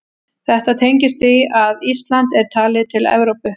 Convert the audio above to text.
Þetta tengist því að Ísland er talið til Evrópu.